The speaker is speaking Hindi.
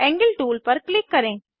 एंगल टूल पर क्लिक करें